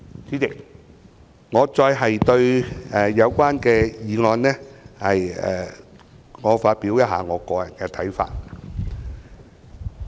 主席，我想就《條例草案》發表一些個人看法。